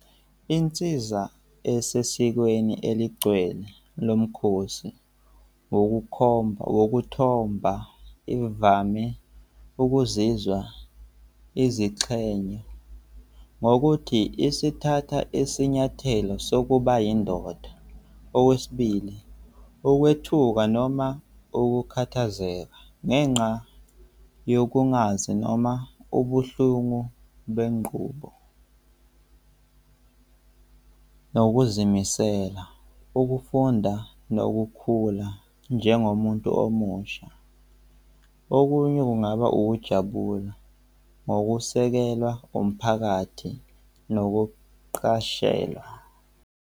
Insiza esesizweni eligcwele lo mkhosi wokukhomba, wokuthomba ivame ukuzizwa izixhenye ngokuthi isithatha isinyathelo sokuba yindoda. Okwesibili, ukwethuka noma ukukhathazeka ngenxa yokungazi noma ubuhlungu benqubo nokuzimisela, ukufunda nokukhula njengomuntu omusha. Okunye kungaba ukujabula ngokusekelwa umphakathi nokuqashelwa.